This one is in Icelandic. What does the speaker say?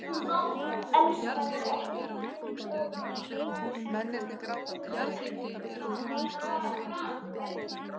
Elskaðu ekki þinn bróður.